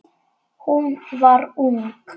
Hún var ung.